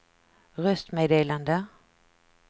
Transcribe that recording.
röstmeddelande